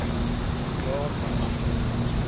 jaar van aanslag